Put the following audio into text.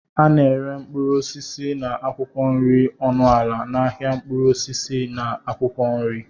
A na-ere mkpụrụ osisi na akwụkwọ nri ọnụ ala n'ahịa mkpụrụ osisi na akwụkwọ nri.